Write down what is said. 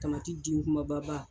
den kumababa.